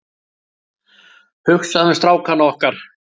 Hugsaðu um strákana okkar.